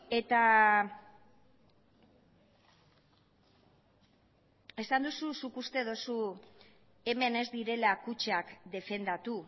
eta esan duzu zuk uste duzu hemen ez direla kutxak defendatu